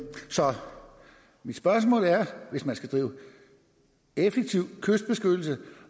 spørgsmål er hvis man skal drive effektiv kystbeskyttelse